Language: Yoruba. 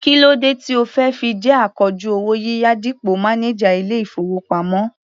Kí ló dé tí o fi jẹ́ akojú owó yíyá dípò mánájà ilé-ìfowópamọ́?